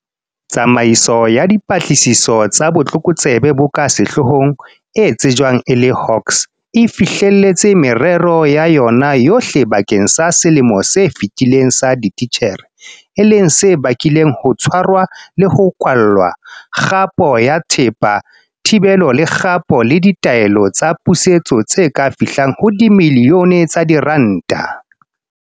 Tsamaiso ya Dipatlisiso tsa Botlokotsebe bo ka Sehloohong, e tsejwang e le Hawks, e fihlelletse merero ya yona yohle bakeng sa selemo se fetileng sa ditjhelete, e leng se bakileng ho tshwarwa le ho kwallwa, kgapo ya thepa, thibelo le kgapo le ditaelo tsa pusetso tse ka fihlang ho dimilione tsa diranta.